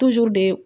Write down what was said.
de